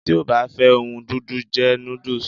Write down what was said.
Ti o ba fe ohun dundun, je nudus